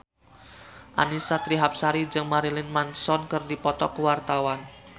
Annisa Trihapsari jeung Marilyn Manson keur dipoto ku wartawan